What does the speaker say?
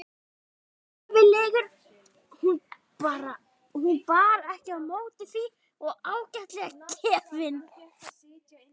Hann var reffilegur hún bar ekki á móti því og ágætlega gefinn.